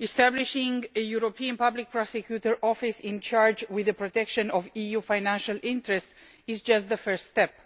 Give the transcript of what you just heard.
Establishing a European Public Prosecutor's Office charged with the protection of EU financial interests is just the first step.